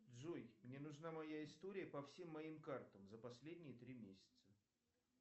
джой мне нужна моя история по всем моим картам за последние три месяца